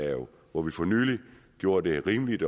hvor vi for nylig gjorde det rimeligt